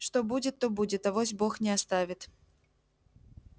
что будет то будет авось бог не оставит